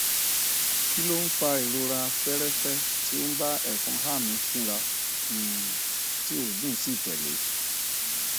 kí ló ń fa ìrora feerefe tó ń bá efonha mi fínra um tí oogun si tele